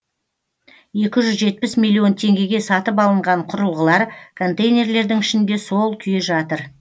екі жүз жетпісмиллион теңгеге сатып алынған құрылғылар контейнерлердің ішінде сол күйі жатыр